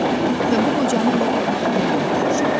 Və bu qocanı elə bil yuxudan oyatmışdı.